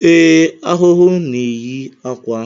Ee, ahụhụ na-eyi akwa